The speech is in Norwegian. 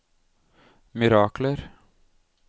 mirakler